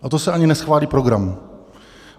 A to se ani neschválí program.